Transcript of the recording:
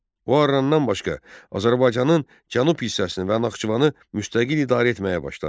O Arrandan başqa Azərbaycanın cənub hissəsini və Naxçıvanı müstəqil idarə etməyə başladı.